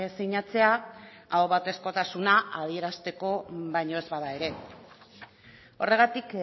sinatzea ahobatezkotasuna adierazteko baino ez bada ere horregatik